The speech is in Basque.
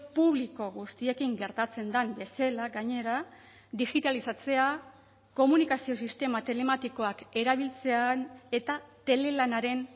publiko guztiekin gertatzen den bezala gainera digitalizatzea komunikazio sistema telematikoak erabiltzean eta telelanaren